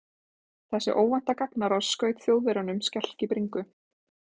Þessi óvænta gagnárás skaut Þjóðverjunum skelk í bringu.